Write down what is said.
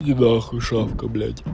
иди нахуй шавка блядь